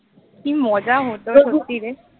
কি মজা হত সত্যিরে